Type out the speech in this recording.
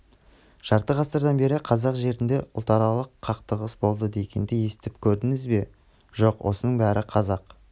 жарты ғасырдан бері қазақ жерінде ұлтаралық қақтығыс болды дегенді естіп көрдіңіз бе жоқ осының бәрі қазақ